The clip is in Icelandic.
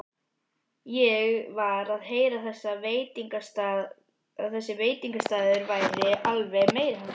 Ég var að heyra að þessi veitingastaður væri alveg meiriháttar!